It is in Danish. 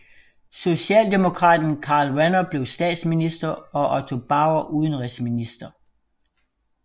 Socialdemokraten Karl Renner blev statsminister og Otto Bauer udenrigsminister